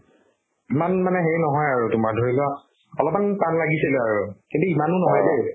ইমান মানে হেৰি নহয় আৰু তোমাৰ ধৰি লোৱা অলপমান টান লাগিছিল আৰু কিন্তু ইমানো নহয় দে